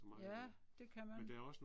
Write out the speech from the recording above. Ja, det kan man